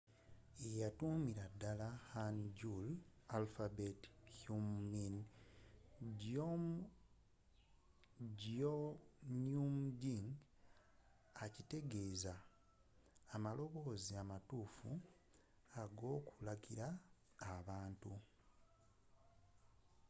yeyatuumira dala hangeul alphabet hunmin jeongeum ekitegeeza amaloboozi amatuufu ag’okulagira abantu